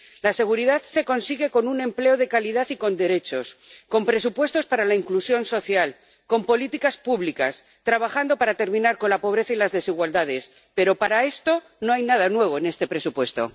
La seguridad se consigue con un empleo de calidad y con derechos, con presupuestos para la inclusión social, con políticas públicas, trabajando para terminar con la pobreza y las desigualdades, pero para esto no hay nada nuevo en este presupuesto.